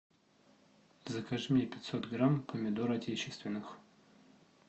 закажи мне пятьсот грамм помидор отечественных